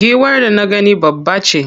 Giwar da na gani babbace.